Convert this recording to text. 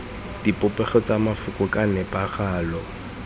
dipopego tsa mafoko ka nepagalo